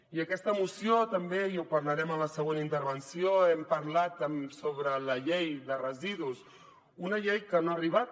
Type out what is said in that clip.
i en aquesta moció també i ho parlarem en la següent intervenció hem parlat sobre la llei de residus una llei que no ha arribat